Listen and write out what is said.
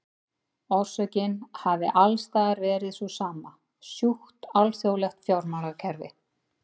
Orsökin hafi alls staðar verið sú sama, sjúkt alþjóðlegt fjármálakerfi.